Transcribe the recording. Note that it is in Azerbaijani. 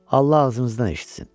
Allah ağzınızdan eşitsin.